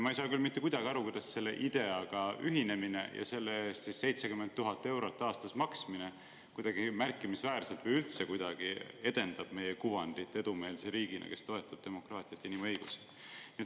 Ma ei saa küll mitte kuidagi aru, kuidas IDEA‑ga ühinemine ja selle eest 70 000 euro aastas maksmine märkimisväärselt või üldse kuidagi edendab meie kuvandit edumeelse riigina, kes toetab demokraatiat ja inimõigusi.